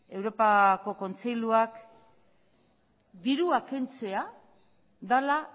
europako kontseiluak dirua kentzea dela